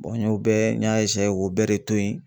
n y'o bɛɛ n y'a k'o bɛɛ de to yen